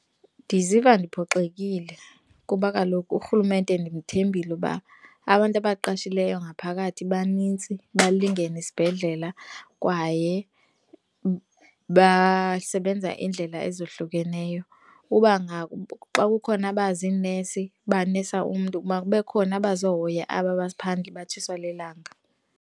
Ndiziva ndiphoxekile kuba kaloku urhulumente ndimthembile uba abantu abaqashileyo ngaphakathi banintsi balingene esibhedlela kwaye basebenza indlela ezohlukeneyo. Uba xa kukhona abaziinesi banesa umntu, makube khona abazohoya aba baphandle batshiswa lilanga.